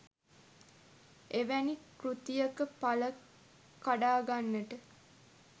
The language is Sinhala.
එවැනි කෘතියක පල කඩාගන්නට